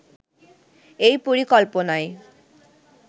এই পরিকল্পনায়